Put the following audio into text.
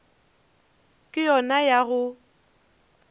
ye ke yona ya go